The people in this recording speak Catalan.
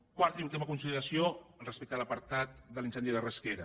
quarta i última consideració respecte a l’apartat de l’incendi de rasquera